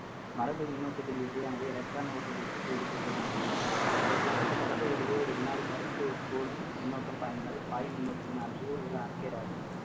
மரபு மின்னோட்டத்தின் யானது electron ஓட்ட திசைக்கு எதிர் திசையில் அமையும் ஒரு குறிப்பிட்ட பரப்பு வழியே ஒரு வினாடி நேரத்தில் ஒரு கூலும் மின்னோட்டம் பாய்ந்தால் காயமின்னோட்டத்தின் ஆனது ஒரு amphere ஆகும்